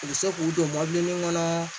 U bɛ se k'u don mɔbilinin kɔnɔ